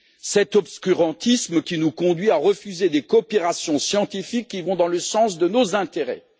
Cet obscurantisme qui nous conduit à refuser des coopérations scientifiques qui vont dans le sens de nos intérêts.